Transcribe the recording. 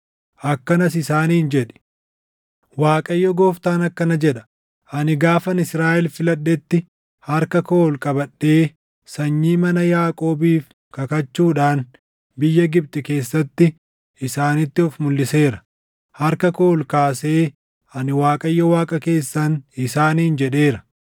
akkanas isaaniin jedhi: ‘ Waaqayyo Gooftaan akkana jedha: Ani gaafan Israaʼel filadhetti harka koo ol qabadhee sanyii mana Yaaqoobiif kakachuudhaan biyya Gibxi keessatti isaanitti of mulʼiseera. Harka koo ol kaasee, “Ani Waaqayyo Waaqa keessan” isaaniin jedheera.